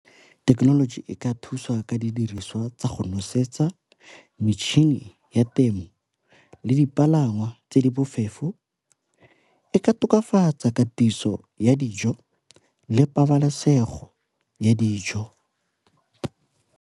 Thekenoloji e ka thusa ka didiriswa tsa go nosetsa, metšhini ya temo le dipalangwa tse di bofefo, e ka tokafatsa katiso ya dijo le pabalesego ya dijo.